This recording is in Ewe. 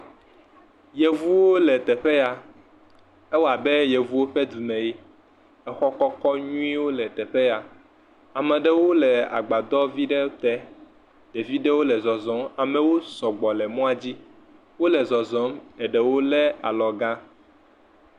Yevuwo le teƒe ya ewɔ abe yevuwo ƒe dume ye exɔ kɔkɔwo le teƒe ya ame aɖewo le agbadɔ vi ɖe te ɖevi ɖewo le xɔxɔm, amewo sɔgbɔ le emɔa dzi wole zɔzɔm, eɖewo lé alɔgã.